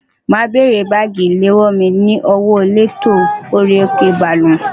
Ma bèrè bagi ilewo mi ni owo eleto ori oko baalu.